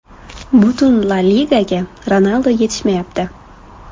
Butun La Ligaga Ronaldu yetishmayapti.